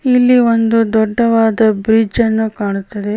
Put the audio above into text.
ಇಲ್ಲಿ ಒಂದು ದೊಡ್ಡವಾದ ಬ್ರಿಜ್ ಅನ್ನು ಕಾಣುತ್ತದೆ.